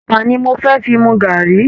Ẹ̀pà ni mo fẹ́ fi mu gàárì